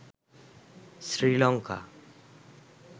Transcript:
Sri Lanka